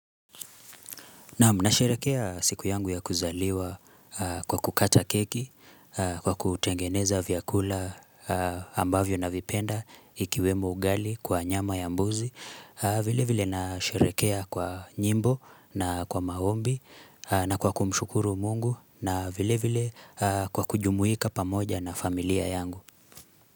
Naam, nasherehekea siku yangu ya kuzaliwa kwa kukata keki, kwa kutengeneza vyakula ambavyo navipenda ikiwemo ugali kwa nyama ya mbuzi. Vile vile nasherehekea kwa nyimbo na kwa maombi na kwa kumshukuru mungu na vile vile kwa kujumuika pamoja na familia yangu.